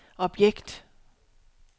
objekt